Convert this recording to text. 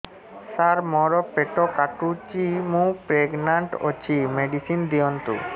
ସାର ମୋର ପେଟ କାଟୁଚି ମୁ ପ୍ରେଗନାଂଟ ଅଛି ମେଡିସିନ ଦିଅନ୍ତୁ